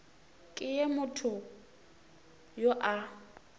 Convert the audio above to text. ke ge motho yo a